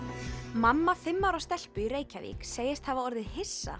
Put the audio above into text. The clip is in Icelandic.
mamma fimm ára stelpu í Reykjavík segist hafa orðið hissa